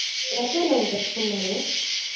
ರಜೆ ಎಲ್ಲ ಉಂಟಾ ಸು~ ಸುಮಾರು.